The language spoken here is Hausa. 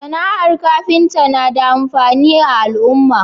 SAna ar kafinta na da amfani a al'uma